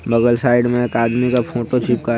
बगल साइड में एक आदमी का फोटो चिपका --